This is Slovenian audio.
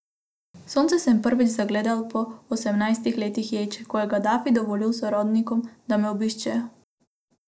Sonce sem prvič zagledal po osemnajstih letih ječe, ko je Gadafi dovolil sorodnikom, da me obiščejo.